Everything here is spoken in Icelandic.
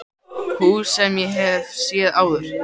Hús sem ég hef séð áður.